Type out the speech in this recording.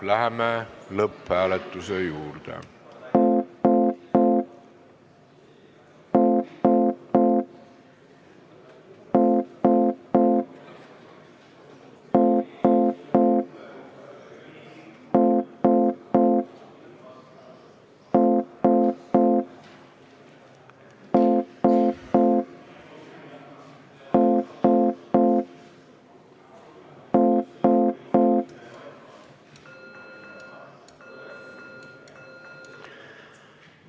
Läheme lõpphääletuse juurde.